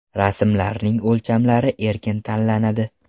Rasmlarning o‘lchamlari erkin tanlanadi.